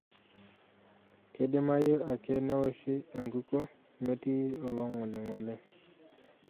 Keidimayu ake newoshi enkukuo metii oloing'oling'oli.